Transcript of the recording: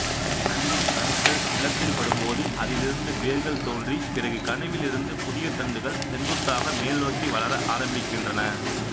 தண்டின் கணுக்கள் நிலத்தில் படும்போது அதிலிருந்து வேர்கள் தோன்றி பிறகு கணுவிலிருந்து புதிய தண்டுகள் செங்குத்தாக மேல்நோக்கி வளர ஆரம்பிக்கின்றன